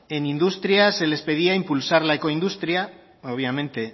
en industria se les pedía impulsar la eco industria obviamente